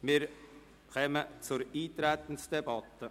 Wir kommen zur Eintretensdebatte.